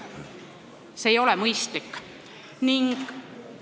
See ei ole mõistlik olukord.